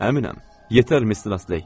Əminəm, yetər miss Nesley.